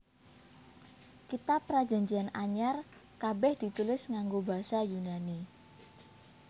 Kitab Prajanjian Anyar kabèh ditulis nganggo basa Yunani